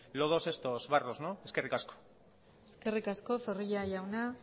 lodos estos barros eskerrik asko eskerrik asko zorrilla jauna